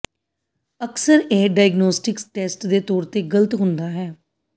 ਅਕਸਰ ਇਹ diagnostic test ਦੇ ਤੌਰ ਤੇ ਗ਼ਲਤ ਹੁੰਦਾ ਹੈ